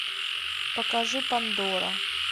покажи пандора